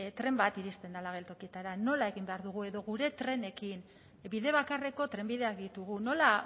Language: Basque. tren bat iristen dela geltokietara nola egin behar dugu edo gure trenekin bide bakarreko trenbideak ditugu nola